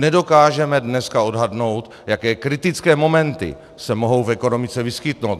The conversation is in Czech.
Nedokážeme dneska odhadnout, jaké kritické momenty se mohou v ekonomice vyskytnout.